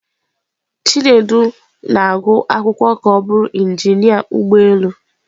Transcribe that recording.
Chinedu na-agụ akwụkwọ ka ọ bụrụ injinia ụgbọ elu.